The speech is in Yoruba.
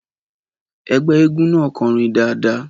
Ẹgbẹ́ eégún náà kọrin dáadáa.